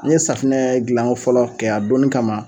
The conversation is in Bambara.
N ye safunɛ gilan ko fɔlɔ kɛ a donnin kama.